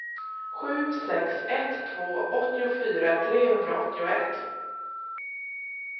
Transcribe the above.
sju sex ett två åttiofyra trehundraåttioett